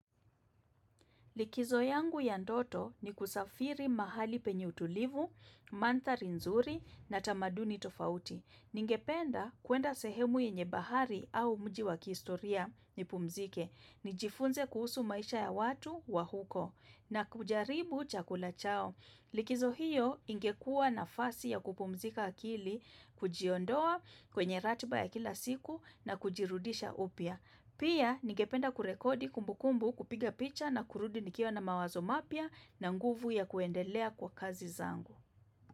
Likizo yangu ya ndoto ni kusafiri mahali penye utulivu, mandhari nzuri na tamaduni tofauti. Ningependa kuenda sehemu yenye bahari au mji wa kihistoria nipumzike. Nijifunze kuhusu maisha ya watu wa huko na kujaribu chakula chao. Likizo hiyo ingekua nafasi ya kupumzika akili, kujiondoa kwenye ratiba ya kila siku na kujirudisha upya. Pia nigependa kurekodi kumbukumbu kupiga picha na kurudi nikiwa na mawazo mapya na nguvu ya kuendelea kwa kazi zangu.